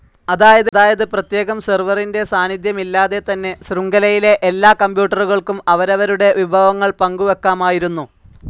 അതായത് പ്രത്യേകം സെർവറിന്റെ സാന്നിദ്ധ്യമില്ലാതെതന്നെ ശൃംഖലയിലെ എല്ലാ കമ്പ്യൂട്ടറുകൾക്കും അവരവരുടെ വിഭവങ്ങൾ പങ്കുവെക്കാമായിരുന്നു.